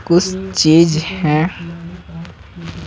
कुछ चीज है।